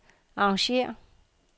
arrangér